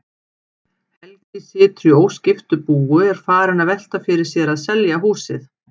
Helgi situr í óskiptu búi og er farinn að velta fyrir sér að selja húsið.